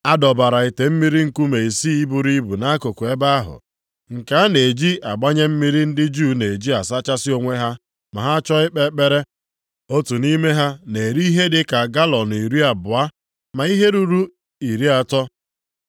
A dọbara ite mmiri nkume isii buru ibu nʼakụkụ ebe ahụ, nke a na-eji agbanye mmiri ndị Juu na-eji asachasị onwe ha ma ha chọọ ikpe ekpere. Otu nʼime ha na-eri ihe dị ka galọọnụ iri abụọ ma ihe ruru iri atọ. + 2:6 Nke a bụ ihe dị ka lita iri asaa na ise maọbụ ihe ruru narị na iri ise.